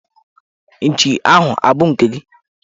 Nchi ahụ abụ nke gị?